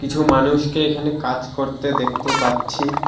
কিছু মানুষকে এখানে কাজ করতে দেখতে পাচ্ছি।